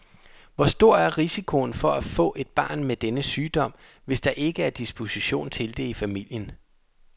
Hvor stor er risikoen for at få et barn denne sygdom, hvis der ikke er disposition til det i familien?